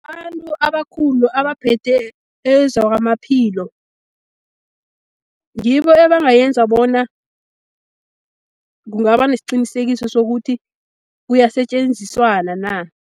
Abantu abakhulu abaphethe ezakwamaphilo ngibo ebangayenza bona, kungaba nesicinisekiso sokuthi kuyasetjenziswana na.